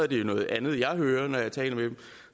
det jo noget andet jeg hører når jeg taler med dem